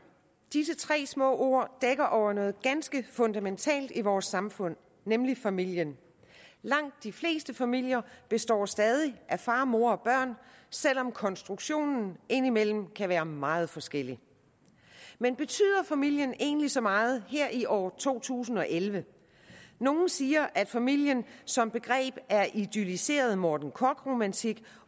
disse tre små ord dækker over noget ganske fundamentalt i vores samfund nemlig familien langt de fleste familier består stadig af far mor og børn selv om konstruktionen indimellem kan være meget forskellig men betyder familien egentlig så meget her i år 2011 nogle siger at familien som begreb er idylliseret morten korch romantik